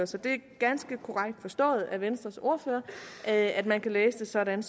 så det er ganske korrekt forstået af venstres ordfører at at man kan læse det sådan